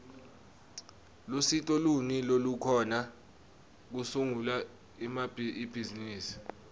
lusito luni lolukhona kusungula ibhizimisi